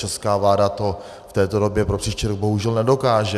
Česká vláda to v této době pro příští rok bohužel nedokáže.